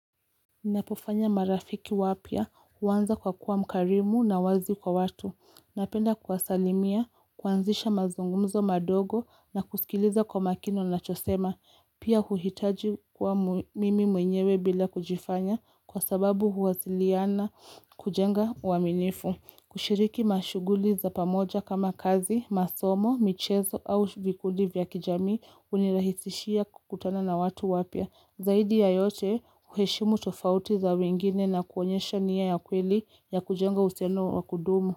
Napofanya marafiki wapia uwanza kwa kuwa mkarimu na wazi kwa watu. Napenda kwasalimia, kwanzisha mazungumzo madogo na kusikiliza kwa makino na chosema. Pia huhitaji kwa mimi mwenyewe bila kujifanya kwa sababu huwasiliana kujenga uaminifu. Kushiriki mashuguli za pamoja kama kazi, masomo, michezo au vikuli vya kijami unirahisishia kutana na watu wapia. Zaidi ya yote uheshimu tofauti za wengine na kuonyesha niya ya kweli ya kujenga useno wa kudumu.